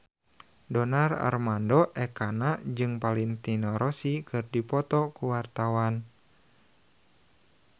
Donar Armando Ekana jeung Valentino Rossi keur dipoto ku wartawan